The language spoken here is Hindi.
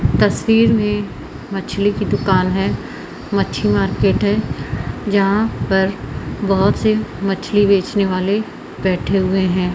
तस्वीर में मछली की दुकान है मछली मार्केट है जहां पर बहोत से मछली बेचने वाले बैठे हुए हैं।